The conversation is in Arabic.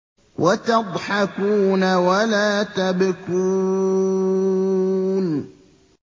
وَتَضْحَكُونَ وَلَا تَبْكُونَ